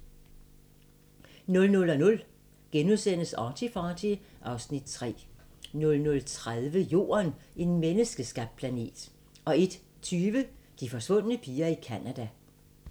00:00: ArtyFarty (Afs. 3)* 00:30: Jorden - en menneskeskabt planet 01:20: De forsvundne piger i Canada